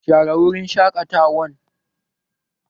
Share wurin shaƙatawan!